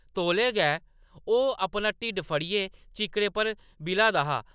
तौले गै, ओह्‌‌ अपना ढिड्ड पकड़ियै चिक्कड़ै पर बि’ला दा हा ।